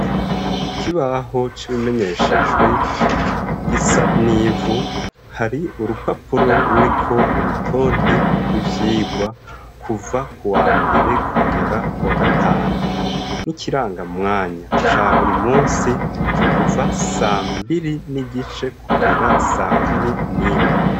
Kukibaho c'ibimenyeshejwe gisa n'ivu hari urupapuro ruriko urutode rw'ivyirwa kuva ku wa mbere kugera ku wa gatanu n'ikiranga mwanya ca buri musi c'ukuva sambiri n'igice kugera sa kuma mi nimu.